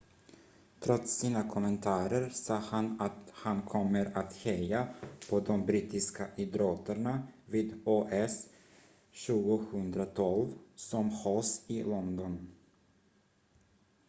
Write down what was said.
trots sina kommentarer sa han att han kommer att heja på de brittiska idrottarna vid os 2012 som hålls i london